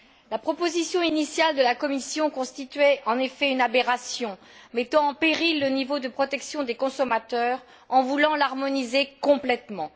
La proposition initiale de la Commission constituait, en effet, une aberration, mettant en péril le niveau de protection des consommateurs en voulant l'harmoniser complètement.